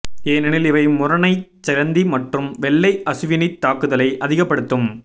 ஏனெனில் இவை முறனைச்சிலந்தி மற்றும் வெள்ளை அசுவிணித் தாக்குதலை அதிகப்படுத்தும்